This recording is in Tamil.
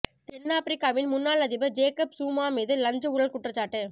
தென்னாப்பிரிக்காவின் முன்னாள் அதிபர் ஜேக்கப் ஸுமா மீது லஞ்ச ஊழல் குற்றச்சாட்டு